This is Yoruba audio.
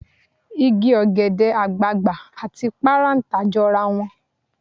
Igi ọ̀gẹ̀dẹ̀ àgbààgbà àti parántà jọra wọn.